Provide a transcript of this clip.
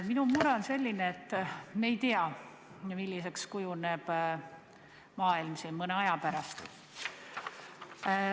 Minu mure on selline, et me ei tea, milliseks kujuneb maailm mõne aja pärast.